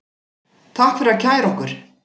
Takk fyrir að kæra okkur